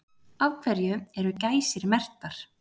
Af hverju eru gæsir merktar?